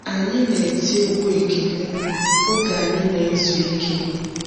Anyị na-eti egwú ekele oge anyị nezu ike.